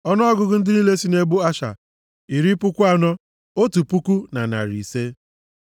Ọnụọgụgụ ndị niile sị nʼebo Asha dị iri puku anọ, otu puku na narị ise (41,500).